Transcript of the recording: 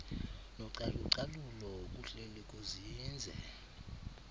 nocalucalulo kuhleli kuzinze